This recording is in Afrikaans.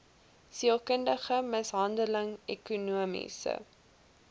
sielkundige mishandeling ekonomiese